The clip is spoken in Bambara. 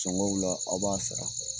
Sɔngɔw la aw b'a sara,